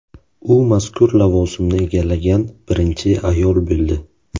U mazkur lavozimni egallagan birinchi ayol bo‘ldi.